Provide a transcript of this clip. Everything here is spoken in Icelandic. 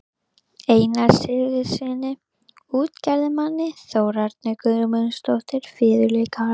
Einari Sigurðssyni útgerðarmanni, Þórarni Guðmundssyni fiðluleikara